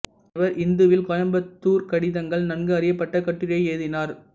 இவர் இந்துவில் கோயம்புத்தூர் கடிதங்கள் நன்கு அறியப்பட்ட கட்டுரையை எழுதினார்